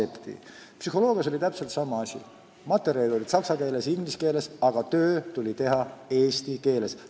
Psühholoogia eriala lõpetades oli täpselt sama asi: materjalid olid saksa keeles ja inglise keeles, aga töö tuli teha eesti keeles.